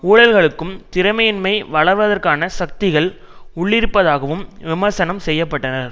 ஊழல்களுக்கும் திறமையின்மை வளர்வதற்கான சக்திகள் உள்ளிருப்பதாகவும் விமர்சனம் செய்ய பட்டனர்